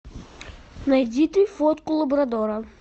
найди ты фотку лабрадора